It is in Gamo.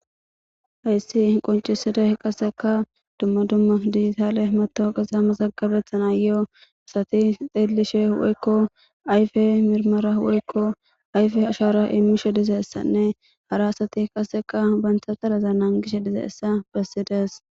Haysi qonciday qaseka dumma dumma dijitale matawoqaza mazagabetanayo asati xeelishe woyko ayfe mirimera woyko ayfe ashara imishe dizaysanne hara asati qaseka banta taraza nagishe dizysa besides.